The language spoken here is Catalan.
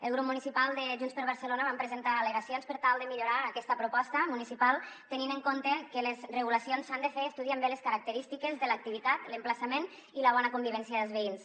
el grup municipal de junts per barcelona vam presentar al·legacions per tal de millorar aquesta proposta municipal tenint en compte que les regulacions s’han de fer estudiant bé les característiques de l’activitat l’emplaçament i la bona convivència dels veïns